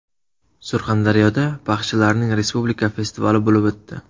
Surxondaryoda baxshilarning respublika festivali bo‘lib o‘tdi.